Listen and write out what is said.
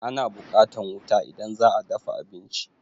Ana buƙatan wuta idan za a dafa abinci.